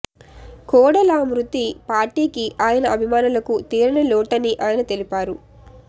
కోడెల మృతి పార్టీకి ఆయన అభిమానులకు తీరని లోటని ఆయన తెలిపారు